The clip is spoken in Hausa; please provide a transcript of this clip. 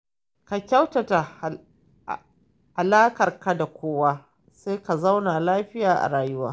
Ka kyautata alaƙarka da kowa sai ka zauna lafiya a rayuwa.